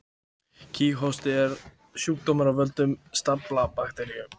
Kíghósti er sjúkdómur af völdum staflaga bakteríu.